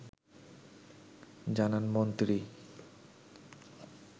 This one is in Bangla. জানান মন্ত্রী